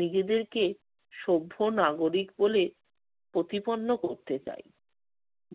নিজেদেরকে সভ্য নাগরিক বলে প্রতিপন্ন করতে চাই।